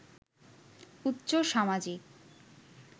উচ্চ সামাজিক